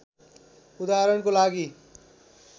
उदाहरणको लागि